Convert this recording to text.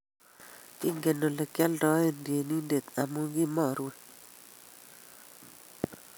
Kingem oleityendoi tyenindet amu kimarue